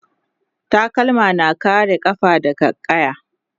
takalma na kare kafa daga ƙaya